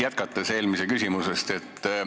Jätkan eelmise küsimuse teemat.